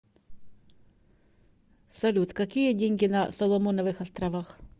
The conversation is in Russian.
салют какие деньги на соломоновых островах